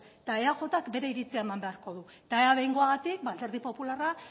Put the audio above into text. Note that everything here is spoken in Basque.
eta eajk bere iritzia eman beharko du eta ea behingoagatik alderdi popularra